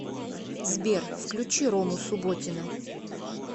сбер включи рому субботина